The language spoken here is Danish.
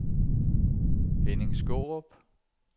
Henning Skaarup